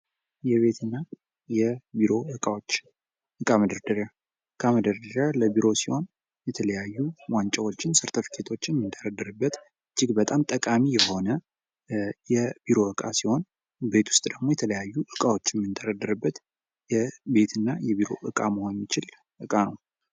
የቤትና የቢሮ እቃዎች፦ እቃ መደርደሪያ ፦ እቃ መደርደሪያ ለቢሮ ሲሆን የተለያዩ ዋንጫዎችን ፣ ሰርተፍኬቶችን የምንደረድርበት እጅግ በጣም ጠቃሚ የሆነ የቢሮ ዕቃ ሲሆን ቤት ውስጥ ደግሞ የተለያዩ እቃዎችን የምንደረድርበት የቤት እና የቢሮ ዕቃ መሆን የሚችል ዕቃ ነው ።